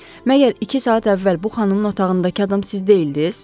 “Məgər iki saat əvvəl bu xanımın otağındakı adam siz deyildiz?